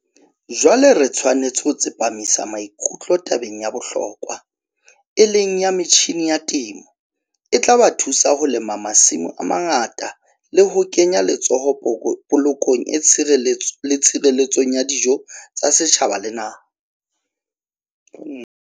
Jwale re tshwanetse ho tsepamisa maikutlo tabeng ya bohlokwa, e leng ya metjhine ya temo, e tla ba thusa ho lema masimo a mangata le ho kenya letsoho polokong le tshireletsong ya dijo tsa setjhaba le naha.